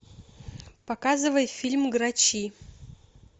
показывай фильм грачи